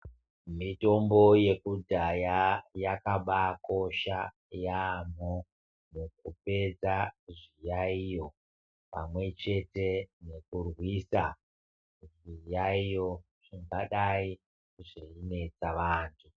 Mitombo yekudhaya yakabakosha yambo mukupedza zviyaiyo pamwechete nekurwisa zviyaiyo zvingadai zveinetsa vantu.